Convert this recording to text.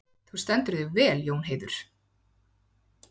Þú stendur þig vel, Jónheiður!